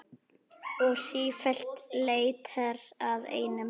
Og sífellt leitar að einum.